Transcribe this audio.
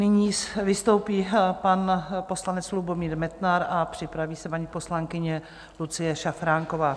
Nyní vystoupí pan poslanec Lubomír Metnar a připraví se paní poslankyně Lucie Šafránková.